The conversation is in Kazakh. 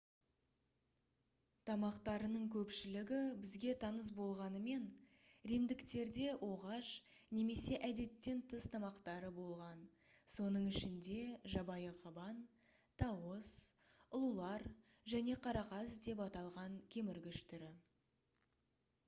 тамақтарының көпшілігі бізге таныс болғанымен римдіктерде оғаш немесе әдеттен тыс тамақтары болған соның ішінде жабайы қабан тауыс ұлулар және қарақас деп аталған кеміргіш түрі